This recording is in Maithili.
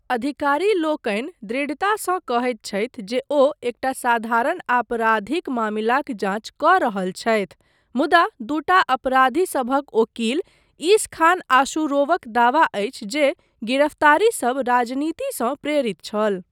अधिकारी लोकनि दृढ़तासँ कहैत छथि जे ओ एकटा साधारण आपराधिक मामिलाक जाँच कऽ रहल छथि मुदा दूटा अपराधीसभक ओकील इसखान आशुरोवक दावा अछि जे गिरफ्तारीसब राजनीतिसँ प्रेरित छल।